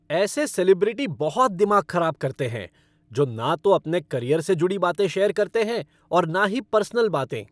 ऐसे सेलिब्रिटी बहुत दिमाग खराब करते हैं जो ना तो अपने करियर से जुड़ी बातें शेयर करते हैं और ना ही पर्सनल बातें।